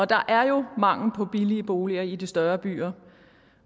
der er jo mangel på billige boliger i de større byer